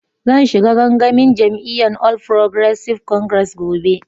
Zan shiga gangamin jami'yyan All Progressive Congress gobe.